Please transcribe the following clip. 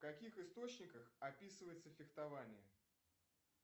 в каких источниках описывается фехтование